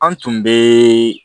An tun bɛ